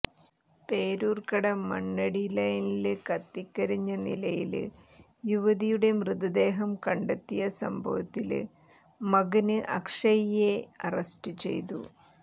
പേരൂര്ക്കട മണ്ണടി ലെയ്നില് കത്തിക്കരിഞ്ഞ നിലയില് യുവതിയുടെ മൃതദേഹം കണ്ടെത്തിയ സംഭവത്തില് മകന് അക്ഷയ്യെ അറസ്റ്റ് ചെയ്തു